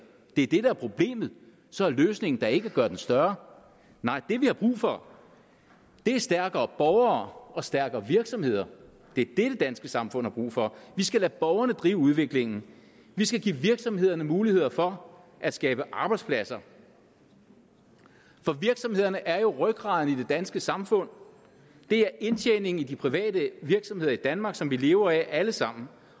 det er det der er problemet så er løsningen da ikke at gøre den større nej det vi har brug for er stærkere borgere og stærkere virksomheder det er det det danske samfund har brug for vi skal lade borgerne drive udviklingen vi skal give virksomhederne muligheder for at skabe arbejdspladser for virksomhederne er jo rygraden i det danske samfund det er indtjeningen i de private virksomheder i danmark som vi lever af alle sammen